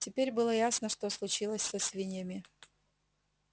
теперь было ясно что случилось со свиньями